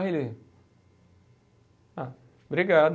Aí ele, ah, obrigado.